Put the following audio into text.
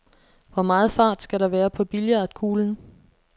Hvor meget fart skal der være på billiardkuglen?